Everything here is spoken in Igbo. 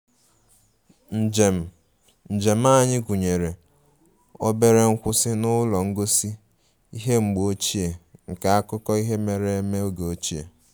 Njem njem anyị gụnyere obere nkwụsị n'ụlọ ngosi ihe mgbe ochie nke akụkọ ihe mere eme oge ochie